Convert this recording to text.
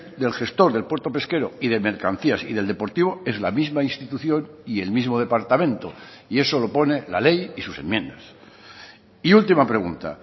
del gestor del puerto pesquero y de mercancías y del deportivo es la misma institución y el mismo departamento y eso lo pone la ley y sus enmiendas y última pregunta